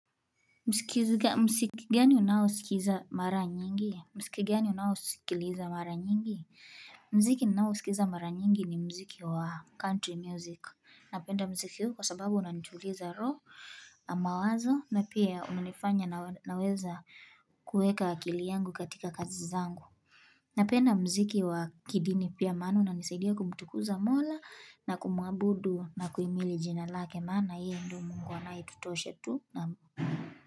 Msiki gani unausikiza mara nyingi? Msiki gani unausikiliza mara nyingi? Mziki ninaosikiza mara nyingi ni mziki wa country music. Napenda mziki huu kwa sababu unantuliza raho, na mawazo na pia unanifanya naweza kueka akili yangu katika kazi zangu. Napenda mziki wa kidini pia maana unanisaidia kumtukuza mola na kumuabudu na kuimili jina lake maana. Na hiyo ndo mungu anaetutosha tu.